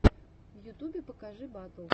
в ютубе покажи батл